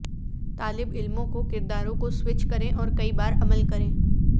طالب علموں کو کرداروں کو سوئچ کریں اور کئی بار عمل کریں